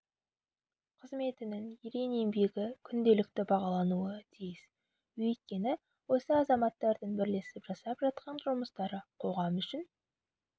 қызметінің ерен еңбегі күнделікті бағалануы тиіс өйткені осы азаматтардың бірлесіп жасап жатқан жұмыстары қоғам үшін